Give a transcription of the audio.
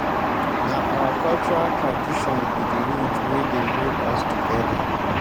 na our cultural tradition be di root wey dey hold us togeda.